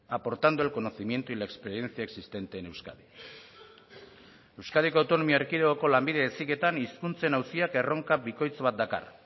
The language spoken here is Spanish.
aportando el conocimiento y la experiencia existente en euskadi euskadiko autonomia erkidegoko lanbide heziketan hizkuntzen auziak erronka bikoitz bat dakar